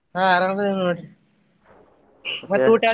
ಹಾ ಆರಾಮ್ ಅದೇವ ನೋಡ್ರಿ ಮತ್ತೆ ಊಟ.